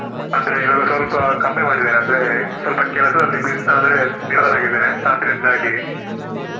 ಅಂದ್ರೆ ಇವಾಗ ಸ್ವಲ್ಪ ಕಮ್ಮಿ ಮಾಡಿದೆನೆ ಅಂದ್ರೆ ಸ್ವಲ್ಪ ಕೆಲ್ಸದಲ್ಲಿ Bus~ ಅಂದ್ರೆ ನಿರತನಾಗಿದ್ದೇನೆ ಆದ್ರಿಂದಾಗಿ.